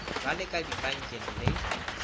ba le ka dipankeng le